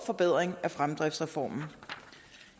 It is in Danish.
forbedring af fremdriftsreformen